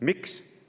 Miks?